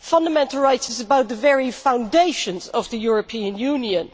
Fundamental rights is about the very foundations of the European Union.